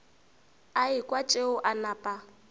a ekwa tšeo a napa